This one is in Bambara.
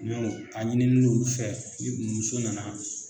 Ɲɔ a ɲini n'u fɛ ni muso nana